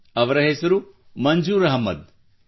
ಅವನ ಹೆಸರು ಮಂಜೂರ್ ಅಹಮದ್